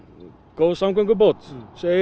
góð samgöngubót